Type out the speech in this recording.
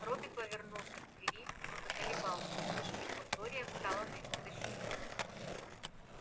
робби повернулся к двери но заколебался услышав что глория встала на его защиту